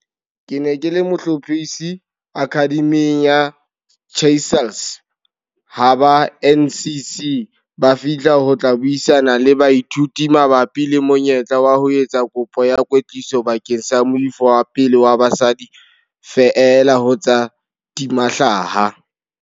Ke ne ke le mohlophisi Akhademing ya Chrysalis ha ba NCC ba fihla ho tla buisana le baithuti mabapi le monyetla wa ho etsa kopo ya kwetliso bakeng sa moifo wa pele wa basadi feela ho tsa ho tima hlaha.